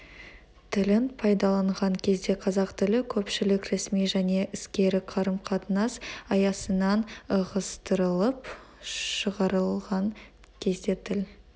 тілін пайдаланған кезде қазақ тілі көпшілік ресми және іскери қарым-қатынас аясынан ығыстырылып шығарылған кезде тіл